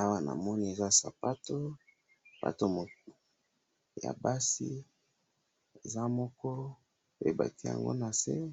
awa na moni eza sapato, sapato ya basi eza moko e'baki yango na see